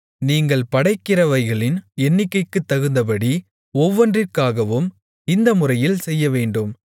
நீங்கள் படைக்கிறவைகளின் எண்ணிக்கைக்குத்தகுந்தபடி ஒவ்வொன்றிற்காகவும் இந்த முறையில் செய்யவேண்டும்